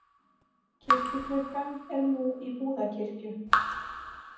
Kirkjuklukkan er nú í Búðakirkju.